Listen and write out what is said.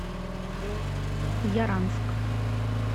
яранск